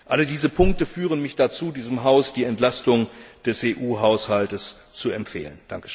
Alle diese Punkte führen mich dazu, diesem Haus die Entlastung des EU Haushalts zu empfehlen.